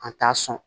A t'a sɔn